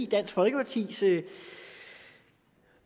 dansk folkepartis